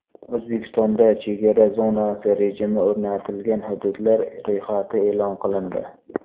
O‘zbekistonda chegara zonasi rejimi o‘rnatilgan hududlar ro‘yxati e’lon qilindi.